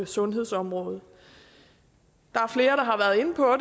sundhedsområdet der